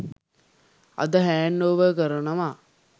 අද hand over කරනවා.